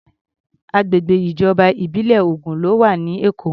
Agbègbè ìjọba ìbílẹ̀ ogún ló wà ní Èkó.